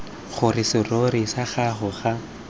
gore serori sa gago ga